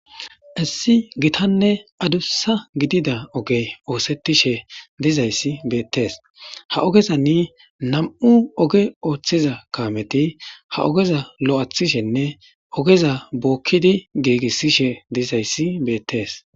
Issi gitanne adusa gidida ogey othetishe dizays betes, ha ogezan 2 oge othiza kamet ogeza lo'ethishene ogeza bokid gigisishe dizays betes.